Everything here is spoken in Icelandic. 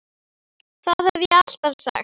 Það hef ég alltaf sagt.